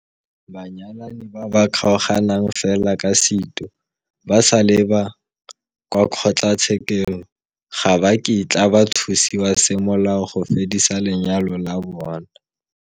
Banyalani ba ba kgaoganang fela ka seitu ba sa leba kwa kgotlatshekelo ga ba kitla ba thusiwa semolao go fedisa lenyalo la bona.